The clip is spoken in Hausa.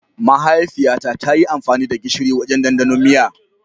Mahaifiyata ta yi amfani da gishiri wajen ɗandanon miya.